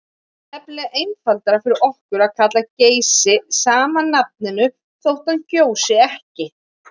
Það er nefnilega einfaldara fyrir okkur að kalla Geysi sama nafninu þótt hann gjósi ekki.